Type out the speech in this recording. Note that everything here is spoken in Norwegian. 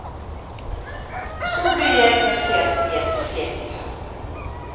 Så blir jeg plassert i et sete.